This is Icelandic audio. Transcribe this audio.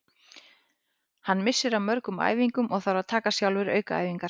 Hann missir af mörgum æfingum og þarf að taka sjálfur aukaæfingar.